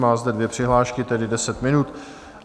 Má zde dvě přihlášky, tedy deset minut.